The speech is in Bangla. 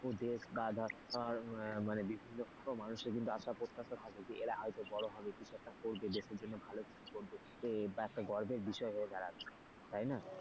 ওদের বা ধর বিভিন্ন আসা প্রত্যাশা থাকে এরা হয়তো বড় হবে কিছু একটা হবে দেশের জন্য ভালো কিছু করবে একটা গর্বের বিষয় হয়ে দাড়াবে তাই না,